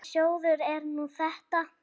Hvaða sjóður er nú þetta?